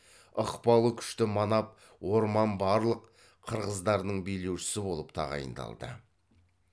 ықпалы күшті манап орман барлық қырғыздарының билеушісі болып тағайындалды